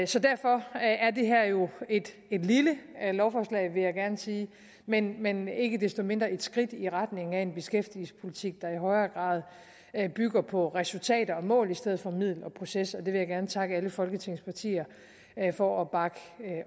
så derfor er det her jo et lille lovforslag vil jeg gerne sige men men ikke desto mindre et skridt i retning af en beskæftigelsespolitik der i højere grad bygger på resultater og mål i stedet for på middel og proces og det vil jeg gerne takke alle folketingets partier for at bakke